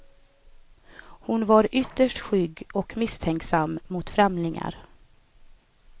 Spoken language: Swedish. Hon var ytterst skygg och misstänksam mot främlingar.